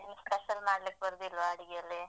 ನಿಮ್ಗೆ special ಮಾಡ್ಲಿಕ್ಕೆ ಬರುದಿಲ್ವಾ ಅಡಿಗೆಯಲ್ಲಿ?